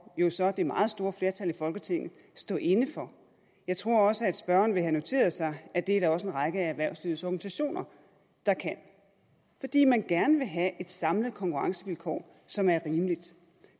jo så det meget store flertal i folketinget stå inde for jeg tror også at spørgeren vil have noteret sig at det er der også en række af erhvervslivets organisationer der kan fordi man gerne vil have et samlet konkurrencevilkår som er rimeligt